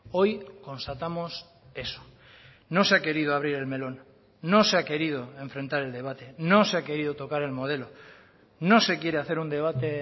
hoy constatamos eso no se ha querido abrir el melón no se ha querido enfrentar el debate no se ha querido tocar el modelo no se quiere hacer un debate